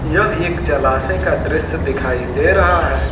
यह एक जलाशय का दृश्य दिखाई दे रहा है।